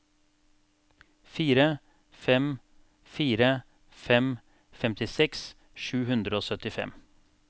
fire fem fire fem femtiseks sju hundre og syttifem